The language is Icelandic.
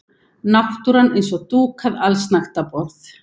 Náttúran eins og dúkað allsnægtaborð.